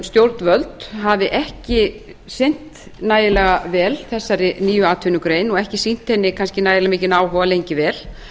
stjórnvöld hafi ekki sinnt nægilega vel þessari nýju atvinnugrein og ekki sýnt henni kannski ægilega mikinn áhuga lengi vel